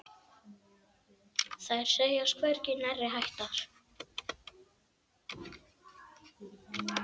Þær segjast hvergi nærri hættar.